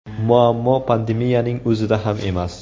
Muammo pandemiyaning o‘zida ham emas.